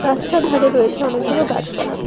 রাস্তার ধারে রয়েছে অনেকগুলো গাছপালা।